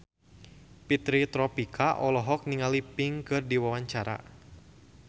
Fitri Tropika olohok ningali Pink keur diwawancara